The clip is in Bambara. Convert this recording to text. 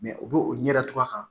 u b'o o ɲɛda cogoya